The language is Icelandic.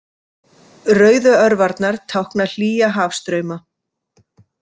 Rauðu örvarnar tákna hlýja hafstrauma.